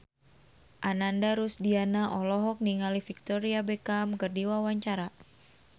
Ananda Rusdiana olohok ningali Victoria Beckham keur diwawancara